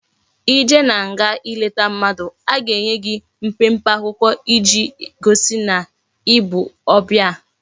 I jee na nga i leta mmadu a ga enye gi mpempe akwukwo iji gosi na ibu obia